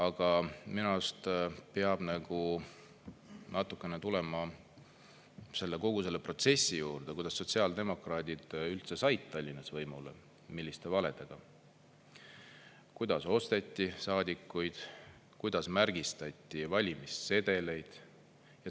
Aga minu arust peab natukene tulema kogu selle protsessi juurde, kuidas sotsiaaldemokraadid üldse said Tallinnas võimule, milliste valedega, kuidas osteti saadikuid, kuidas märgistati valimissedeleid.